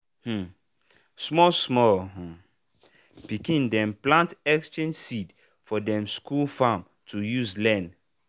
um small small pikin dem plant exchange seed for dem school farm to use learn.